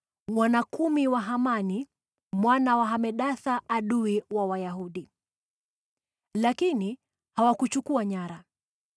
wana kumi wa Hamani mwana wa Hamedatha, adui wa Wayahudi. Lakini hawakuchukua nyara.